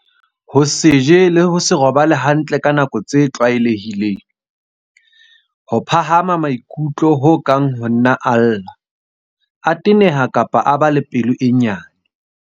Ho se je le ho se robale hantle ka dinako tse tlwae lehileng. Ho phahama maikutlo ho kang ho nna a lla, a teneha kapa a ba pelo e nyane.